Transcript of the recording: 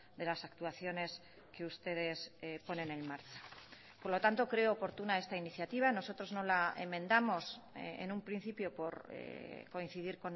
de las actuaciones que ustedes ponen en marcha por lo tanto creo oportuna esta iniciativa nosotros no la enmendamos en un principio por coincidir